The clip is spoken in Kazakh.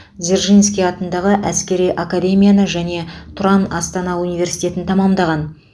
дзержинский атындағы әскери академияны және тұран астана университетін тәмамдаған